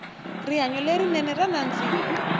rihanyo le rinene ra nandzika